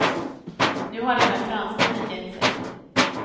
Nu har även fransmännen gett sig.